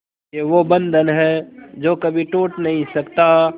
ये वो बंधन है जो कभी टूट नही सकता